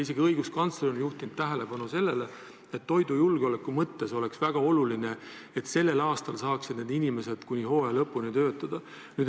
Isegi õiguskantsler on juhtinud tähelepanu sellele, et toidujulgeoleku mõttes oleks väga oluline, et sellel aastal saaksid need inimesed kuni hooaja lõpuni töötada.